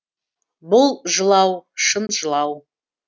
бұл жылау шын жылау